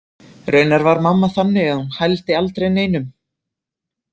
Raunar var mamma þannig að hún hældi aldrei neinum.